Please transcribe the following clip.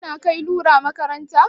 Kuna kai lura makaranta?